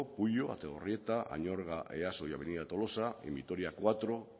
puyo ategorrieta añorga easo y avenida tolosa en vitoria cuatro